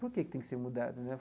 Por que que tem que ser mudado né?